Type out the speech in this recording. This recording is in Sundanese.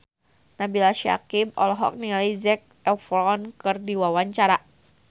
Nabila Syakieb olohok ningali Zac Efron keur diwawancara